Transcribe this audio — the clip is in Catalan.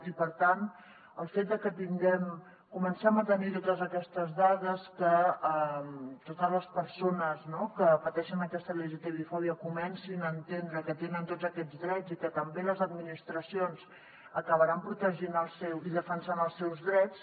i per tant el fet de que tinguem comencem a tenir totes aquestes dades que totes les persones que pateixen aquesta lgtbi fòbia comencin a entendre que tenen tots aquests drets i que també les administracions acabaran protegint i defensant els seus drets